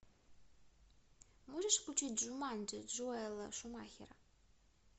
можешь включить джуманджи джоэла шумахера